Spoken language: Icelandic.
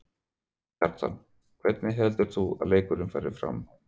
Kjartan: Hvernig heldur þú að leikurinn fari?